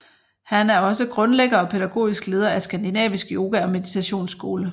Han er også grundlægger og pædagogiske leder af Skandinavisk Yoga og Meditationsskole